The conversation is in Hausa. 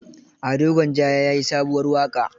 Ado Gwanja ya yi sabuwar waƙa.